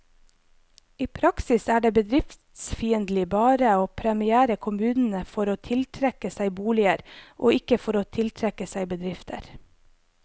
I praksis er det bedriftsfiendtlig bare å premiere kommunene for å tiltrekke seg boliger, og ikke for å tiltrekke seg bedrifter.